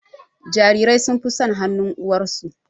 Jarirai sun fi son hanun uwarsu